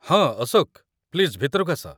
ହଁ, ଅଶୋକ, ପ୍ଲିଜ୍ ଭିତରକୁ ଆସ ।